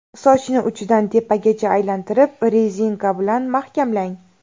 Sochni uchidan tepagacha aylantirib, rezinka bilan mahkamlang.